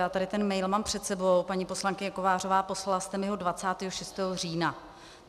Já tady ten mail mám před sebou, paní poslankyně Kovářová, poslala jste mi ho 26. října.